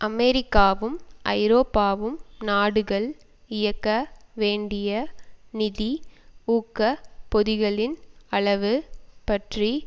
அமெரிக்காவும் ஐரோப்பாவும் நாடுகள் இயக்க வேண்டிய நிதி ஊக்க பொதிகளின் அளவு பற்றி